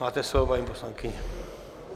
Máte slovo, paní poslankyně.